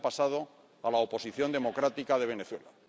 Y el año pasado a la oposición democrática de Venezuela.